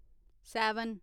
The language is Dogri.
सैवन